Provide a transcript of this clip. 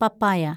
പപ്പായ